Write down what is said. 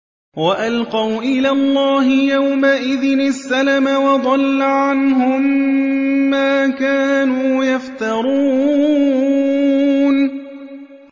وَأَلْقَوْا إِلَى اللَّهِ يَوْمَئِذٍ السَّلَمَ ۖ وَضَلَّ عَنْهُم مَّا كَانُوا يَفْتَرُونَ